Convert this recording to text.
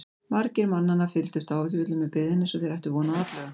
Margir mannanna fylgdust áhyggjufullir með byggðinni eins og þeir ættu von á atlögu.